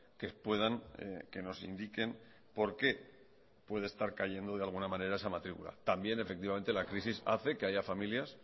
que puedan que nos indiquen por qué puede estar cayendo de alguna manera esa matrícula también efectivamente la crisis hace que haya familias